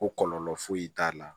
Ko kɔlɔlɔ foyi t'a la